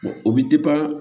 o bɛ